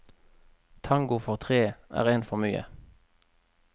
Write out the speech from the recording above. Tango for tre er én for mye.